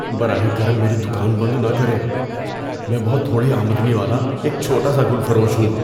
براہ کرم میری دکان بند نہ کریں۔ میں بہت تھوڑی آمدنی والا ایک چھوٹا سا گل فروش ہوں۔